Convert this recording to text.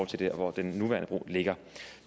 til hvor den nuværende bro ligger